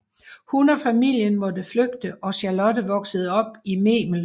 Hun og familien måtte flygte og Charlotte voksede op i Memel